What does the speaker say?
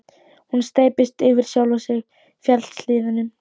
Hún steyptist yfir sjálfa sig í fjallshlíðunum.